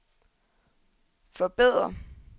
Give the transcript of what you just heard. forbedre